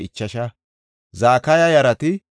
Bigiwaya yarati 2,067